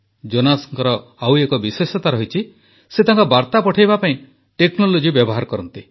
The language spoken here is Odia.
ଜୋନାସଙ୍କର ଆଉ ଏକ ବିଶେଷତା ଅଛି ସେ ତାଙ୍କ ବାର୍ତ୍ତା ପଠାଇବା ପାଇଁ ଟେକ୍ନୋଲୋଜି ବ୍ୟବହାର କରନ୍ତି